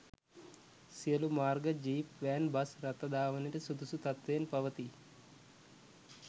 සියලූ මාර්ග jeep van bus රථ ධාවනයට සුදුසු තත්ත්වයෙන් පවතී